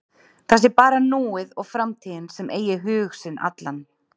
Það sé bara núið og framtíðin sem eigi hug sinn allan.